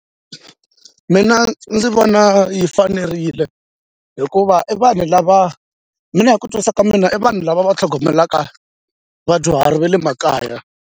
Mina ndzi vona yi fanerile hikuva i vanhu lava mina hi ku twisisa ka mina i vanhu lava va tlhogomelaka vadyuhari va le makaya.